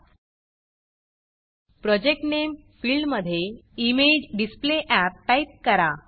project Nameप्रॉजेक्ट name फिल्डमधे इमेजेडिसप्लेअप टाईप करा